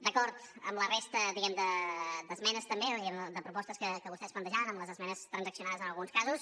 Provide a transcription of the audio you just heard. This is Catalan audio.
d’acord amb la resta diguemne d’esmenes també i de propostes que vostès plantejaven amb les esmenes transaccionades en alguns casos